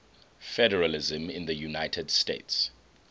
federalism in the united states